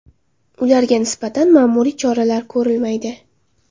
Ularga nisbatan ma’muriy choralar ko‘rilmaydi.